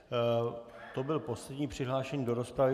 To byl poslední přihlášený do rozpravy.